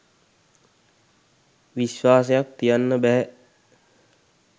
විශ්වාසයක් තියන්න බැහැ